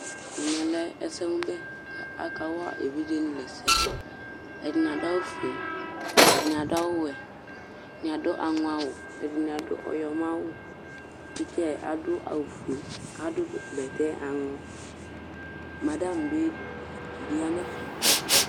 Ɛsɛmʋbɛ kʋ akawa evidzenɩ la ɛsɛ Ɛdɩnɩ adʋ awʋfue, ɛdɩnɩ adʋ awʋwɛ, ɛdɩnɩ adʋ aŋɔawʋ, ɛdɩnɩ adʋ ɔyɔmɔawʋ Tɩtsa yɛ adʋ awʋfue kʋ adʋ bɛtɛ aŋɔ Madam bɩ dɩ ya nʋ ɛfɛ